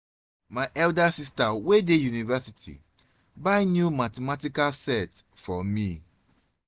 my elder sister wey dey university buy new mathematical set for me